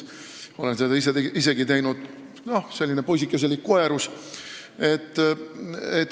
Olen seda isegi teinud, noh, selline poisikeselik koerus.